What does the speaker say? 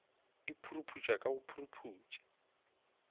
e puruputša ka go puruputša